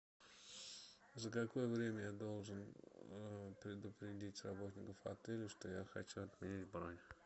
за какое время я должен предупредить работников отеля что я хочу отменить бронь